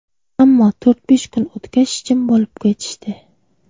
Ammo to‘rt–besh kun o‘tgach, jim bo‘lib ketishdi.